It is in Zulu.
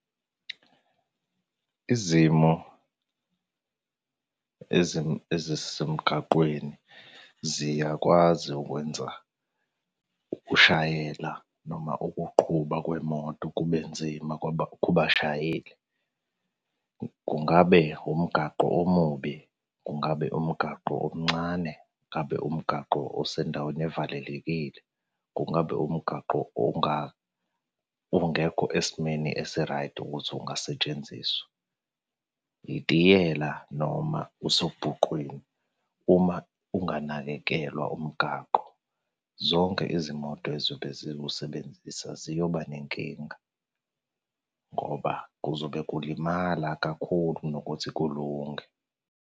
Izimo ezisemgaqweni, ziyakwazi ukwenza ukushayela noma ukuqhuba kwemoto kube nzima kubashayeli. Kungabe umgaqo omubi, kungabe umgaqo omncane. Ngabe umgaqo osendaweni evalelekile. Kungabe umgaqo ongaba ongekho esimeni esiraydi ukuthi ungasetshenziswa. Itiyela noma usobhuqwini. Uma unganakekelwa umgaqo, zonke izimoto ezobe ziwusebenzisa ziyoba nenkinga ngoba kuzobe kulimala kakhulu nokuthi kulunge.